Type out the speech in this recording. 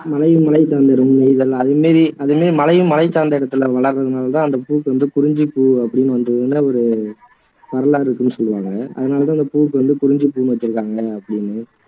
மலையும் மலை சார்ந்த இடமும் நெய்தல் அதுமாதிரி அதுலையே மலையும் மலைசார்ந்த இடத்துல வளர்றதுனாலதான் அந்த பூவுக்கு வந்து குறிஞ்சிப்பூ அப்படின்னு வந்ததுன்னு ஒரு வரலாறு இருக்குதுன்னு சொல்லுவாங்க அதனாலதான் அந்த பூவுக்கு வந்து குறிஞ்சிபூன்னு வச்சிருக்காங்க அப்படின்னு